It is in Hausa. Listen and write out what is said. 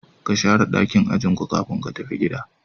Ka Shara dakin ajin ku kafin ka tafi gida.